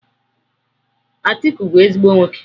Atiku bu ezigbo nwoke.